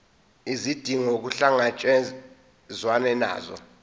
izidingo kuhlangatshezwane nazo